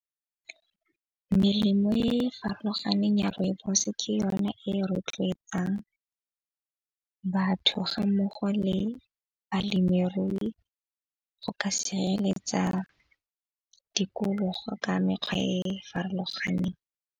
Melemo e e farologaneng ya rooibos-e, ke yona e rotloetsang batho ga mmogo le balemirui go ka sireletsa tikologo ka mekgwa e e farologaneng.